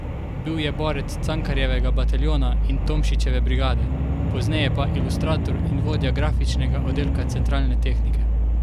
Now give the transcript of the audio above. Bil je borec Cankarjevega bataljona in Tomšičeve brigade, pozneje pa ilustrator in vodja grafičnega oddelka Centralne tehnike.